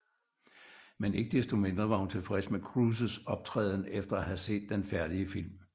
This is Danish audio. Men ikke desto mindre var hun tilfreds med Cruises optræden efter at have set den færdige film